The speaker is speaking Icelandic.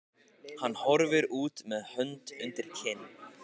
Hann horfir út með hönd undir kinn.